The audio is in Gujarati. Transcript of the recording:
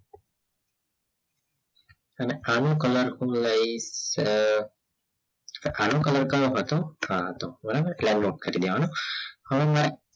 તમે આનો color અ કડો કલર કયો હતો આ હતો બરાબર હવે મારે